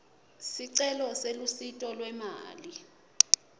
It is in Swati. sicelo selusito lwemali